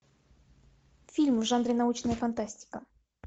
фильм в жанре научная фантастика